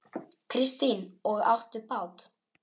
Kristín: Og áttu bát?